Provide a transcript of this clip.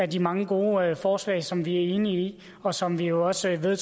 de mange gode forslag som vi er enige i og som vi jo også var